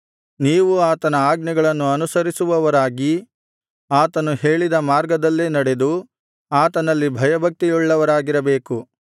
ನೀವು ಆತನ ಆಜ್ಞೆಗಳನ್ನು ಅನುಸರಿಸುವವರಾಗಿ ಆತನು ಹೇಳಿದ ಮಾರ್ಗದಲ್ಲೇ ನಡೆದು ಆತನಲ್ಲಿ ಭಯಭಕ್ತಿಯುಳ್ಳವರಾಗಿರಬೇಕು